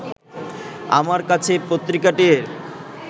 আমার কাছে পত্রিকাটির